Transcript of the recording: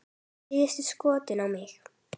Síðasta skotið á mig.